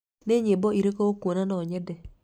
nĩ nyĩmbo irĩkũ ũkuona no nyende?